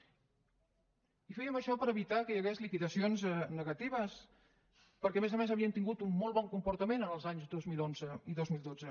i fèiem això per evitar que hi hagués liquidacions negatives perquè a més a més havien tingut un molt bon comportament els anys dos mil onze i dos mil dotze